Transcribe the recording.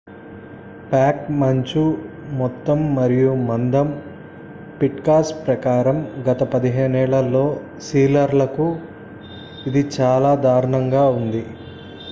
pack మంచు మొత్తం మరియు మందం పిట్మాన్ ప్రకారం గత 15 ఏళ్లలో సీలర్లకు ఇది చాలా దారుణంగా ఉంది